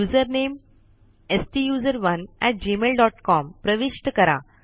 username STUSERONEgmailcom प्रविष्ट करा